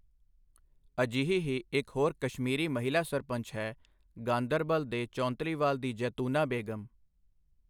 ਅਜਿਹੀ ਹੀ ਇਕ ਹੋਰ ਕਸ਼ਮੀਰੀ ਮਹਿਲਾ ਸਰਪੰਚ ਹੈ, ਗਾਂਦਰਬਲ ਦੇ ਚੌਂਤਲੀਵਾਲ ਦੀ ਜੈਤੂਨਾ ਬੇਗ਼ਮ।